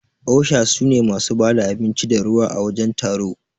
osha sune masu bada abinci da ruwa à wajen taro.